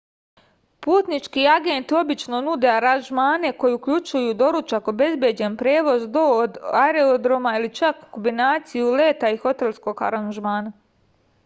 путнички агенти обично нуде аранжмане који укључују доручак обезбеђен превоз до/од аеродрома или чак комбинацију лета и хотелског аранжмана